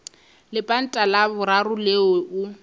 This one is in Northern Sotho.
lepanta la boraro leo o